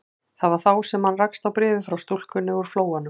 Það var þá sem hann rakst á bréfið frá stúlkunni úr Flóanum.